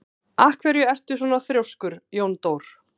Af hverju ertu svona þrjóskur, Jóndór?